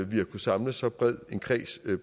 vi har kunne samle så bred en kreds